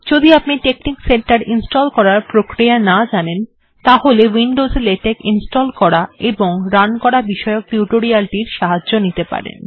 যদি আপনি TeXnicCenter install করার প্রক্রিয়া না জানেন তাহলে উইন্ডোস্ এ লেটেক্ ইনস্টল্ করা এবং রান করা বিষয়ক টিউটোরিয়াল্ টির সাহায্য নিতে পারেন